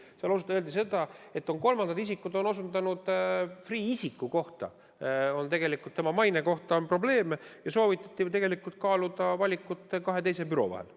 Seal on öeldud, et kolmandad isikud on osutanud, et Freeh' isiku või tegelikult tema maine puhul on probleeme, ja soovitati kaaluda valikut kahe teise büroo vahel.